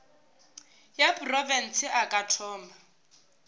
ya profense a ka thoma